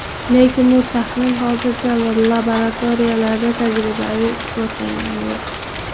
Lekin bu taxmin hozircha laboratoriyalarda tajribaviy isbotlangani yo‘q.